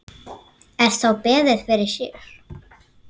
Er þá beðið fyrir sér.